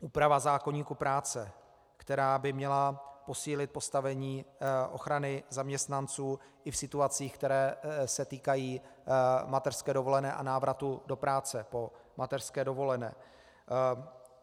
Úprava zákoníku práce, která by měla posílit postavení ochrany zaměstnanců i v situacích, které se týkají mateřské dovolené a návratu do práce po mateřské dovolené.